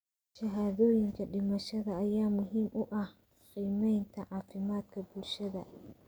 Shahaadooyinka dhimashada ayaa muhiim u ah qiimeynta caafimaadka bulshada.